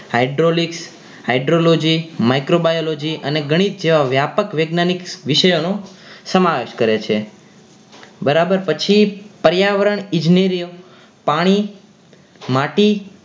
hydraulic hydrology microbiology અને ગણિત જેવા વ્યાપક વૈજ્ઞાનિક વિષયો નો સમાવેશ કરે છે બરાબર પછી પર્યાવરણ ઈજ્નેરીઓ પાણી માટી